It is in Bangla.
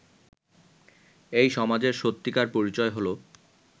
এই সমাজের সত্যিকার পরিচয় হলো